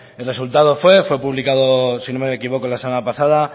el resultado fue publicado si no me equivoco la semana pasada